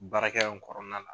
Baarakɛ kɔrɔna la.